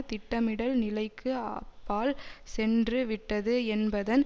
திட்டமிடல் நிலைக்கு அப்பால் சென்று விட்டது என்பதன்